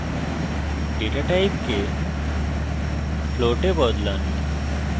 data টাইপকে float এ বদলান